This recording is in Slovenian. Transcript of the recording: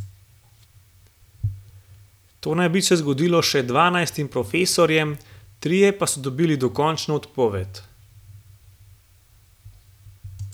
To naj bi se zgodilo še dvanajstim profesorjem, trije pa so dobili dokončno odpoved.